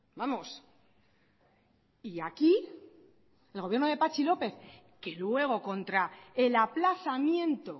vamos y aquí el gobierno de patxi lópez que luego contra el aplazamiento